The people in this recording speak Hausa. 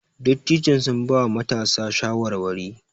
Dattijon sun bawa matasan shawarwari.